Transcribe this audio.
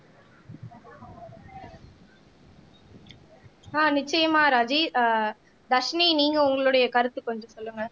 ஆஹ் நிச்சயமா ராஜீ ஆஹ் தர்ஷினி நீங்க உங்களுடைய கருத்து கொஞ்சம் சொல்லுங்க